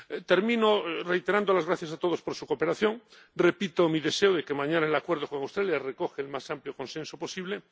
Termino reiterando las gracias a todos por su cooperación, repito mi deseo de que mañana el Acuerdo con Australia recoja el más amplio consenso posible.